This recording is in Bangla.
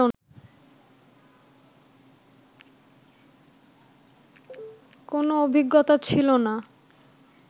কোনো অভিজ্ঞতা ছিল না